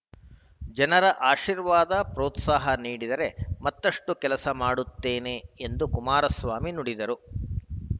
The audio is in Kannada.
ಜನರ ಆಶೀರ್ವಾದ ಪ್ರೋತ್ಸಾಹ ನೀಡಿದರೆ ಮತ್ತಷ್ಟುಕೆಲಸ ಮಾಡುತ್ತೇನೆ ಎಂದು ಕುಮಾರಸ್ವಾಮಿ ನುಡಿದರು